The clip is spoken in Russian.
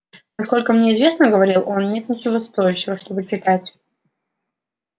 насколько мне известно говорил он нет ничего стоящего чтобы читать